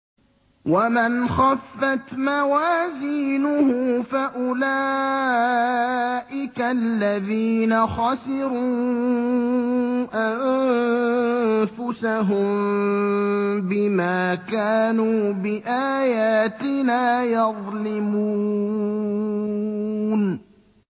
وَمَنْ خَفَّتْ مَوَازِينُهُ فَأُولَٰئِكَ الَّذِينَ خَسِرُوا أَنفُسَهُم بِمَا كَانُوا بِآيَاتِنَا يَظْلِمُونَ